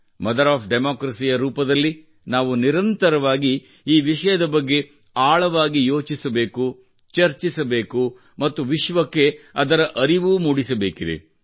mother of democracy ಯ ರೂಪದಲ್ಲಿ ನಾವು ನಿರಂತರವಾಗಿ ಈ ವಿಷಯದ ಬಗ್ಗೆ ಆಳವಾಗಿ ಯೋಚಿಸಬೇಕು ಚರ್ಚಿಸಬೇಕು ಮತ್ತು ವಿಶ್ವಕ್ಕೆ ಅದರ ಅರಿವೂ ಮೂಡಿಸಬೇಕಿದೆ